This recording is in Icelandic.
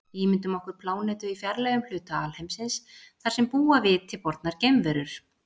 Ímyndum okkur plánetu í fjarlægum hluta alheimsins þar sem búa viti bornar geimverur.